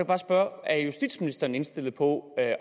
bare spørge er justitsministeren indstillet på at